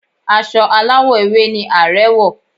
Aṣọ aláwọ̀ ewé ni Ààrẹ̀ wọ̀